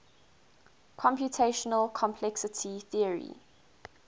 computational complexity theory